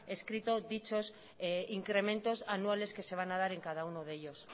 escrito dichos incrementos anuales que se van a dar en cada uno de ellos